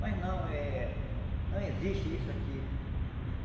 Mas não, eh não existe isso aqui.